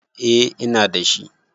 Eh ina dashi